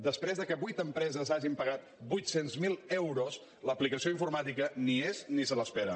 després que vuit empreses hagin pagat vuit cents miler euros l’aplicació informàtica ni hi és ni se l’espera